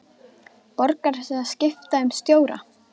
Borgar sig að skipta um stjóra?